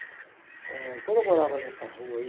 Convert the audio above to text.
Eh, quando eu morava nessa rua aí,